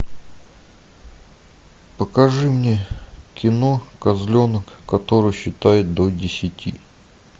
покажи мне кино козленок который считает до десяти